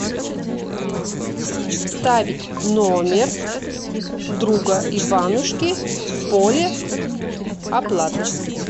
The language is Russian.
вставить номер друга иванушки в поле оплаты